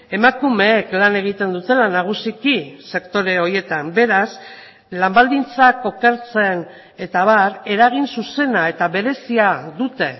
emakumeek lan egiten dutela nagusiki sektore horietan beraz lan baldintzak okertzen eta abar eragin zuzena eta berezia dute